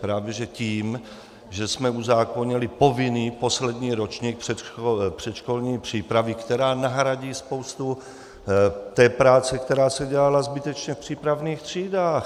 Právě že tím, že jsme uzákonili povinný poslední ročník předškolní přípravy, která nahradí spoustu té práce, která se dělala zbytečně v přípravných třídách.